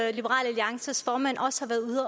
alliances formand også